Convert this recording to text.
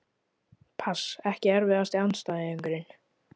pass Ekki erfiðasti andstæðingur?